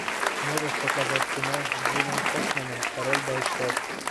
можешь показать кино с джином хэкменом король бойцов